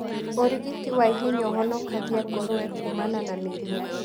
ũrigiti wa ihenya ũhonokagia ngũrũwe kumana na mĩrimũ.